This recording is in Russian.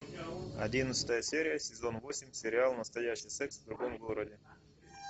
одиннадцатая серия сезон восемь сериал настоящий секс в другом городе